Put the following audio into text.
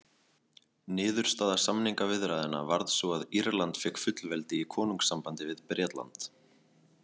Niðurstaða samningaviðræðnanna varð sú að Írland fékk fullveldi í konungssambandi við Bretland.